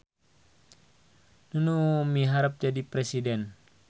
Nunu miharep jadi presiden